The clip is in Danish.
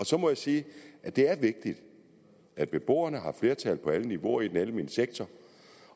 så må jeg sige at det er vigtigt at beboerne har flertal på alle niveauer i den almene sektor